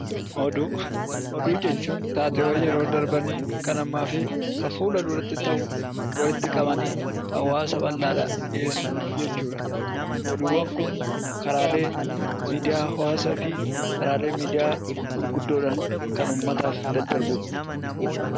Oduu jechuun taateewwan yeroo darbanii, kan ammaa fi fuula duratti ta'u walitti qabanii hawaasa bal'aadhaaf dhiyeessuu jechuudha. Oduuwwan kun karaalee miidiyaa hawaasaa fa'iin kan uummataaf daddarbudha.